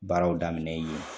Baaraw daminɛ yen